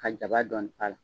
Ka jabaa dɔɔni k'ala.